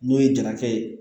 N'o ye jarakɛ ye